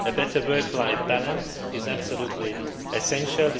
A better work life balance is absolutely essential.